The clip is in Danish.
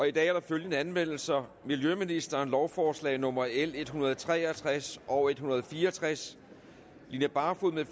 i dag er der følgende anmeldelser miljøministeren lovforslag nummer l en hundrede og tre og tres og en hundrede og fire og tres line barfod